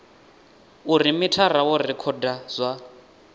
uri mithara wo rekhoda zwa